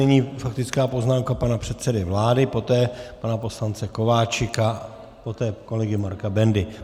Nyní faktická poznámka pana předsedy vlády, poté pana poslance Kováčika, poté kolegy Marka Bendy.